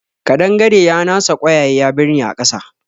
Ƙadangare ya nasa ƙwayaye ya birne a ƙasa